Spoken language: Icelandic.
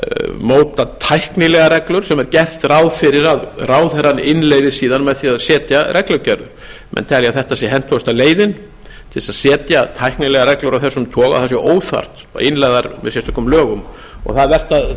móta tæknilegar reglur sem er gert ráð fyrir að ráðherrann innleiði síðan með því að setja reglugerð menn telja þetta hentugustu leiðina til að setja tæknilegar reglur af þessum óþarft það sé óþarft að innleiða þær með sérstökum lögum það er vert að